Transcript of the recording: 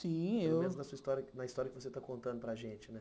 Sim, eu... Pelo menos história na história que você está contando para a gente, né?